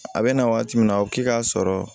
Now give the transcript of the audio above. A bɛ na waati min na a bɛ k'i k'a sɔrɔ